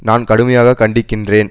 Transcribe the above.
நான் கடுமையாக கண்டிக்கின்றேன்